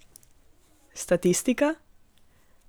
Statistika?